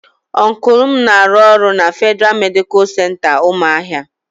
Ọncụl m na-arụ ọrụ na Fedịra Medicalụ Center Umuahia.